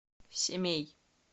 семей